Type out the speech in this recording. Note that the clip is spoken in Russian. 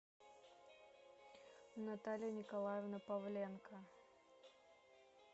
наталья николаевна павленко